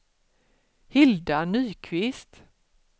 Hilda Nyqvist